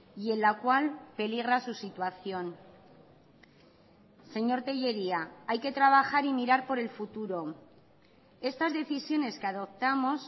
y en la cual peligra su situación señor tellería hay que trabajar y mirar por el futuro estas decisiones que adoptamos